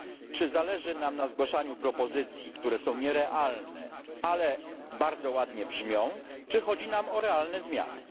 Czy zależy nam na zgłaszaniu propozycji, które są nierealne, ale bardzo ładnie brzmią, czy chodzi nam o realne zmiany?